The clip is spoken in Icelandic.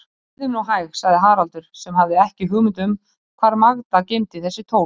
Bíðum nú hæg, sagði Haraldur, sem hafði ekki hugmynd um hvar Magda geymdi þessi tól.